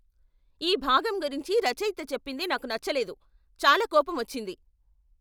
ఈ భాగం గురించి రచయిత చెప్పింది నాకు నచ్చలేదు, చాలా కోపమొచ్చింది.